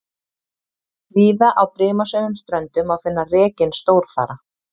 Víða á brimasömum ströndum má finna rekinn stórþara.